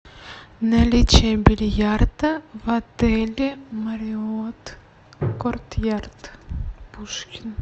наличие бильярда в отеле марриотт кортъярд пушкин